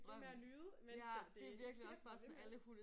Det med at nyde mens at det det ikke sikkert det bliver ved med det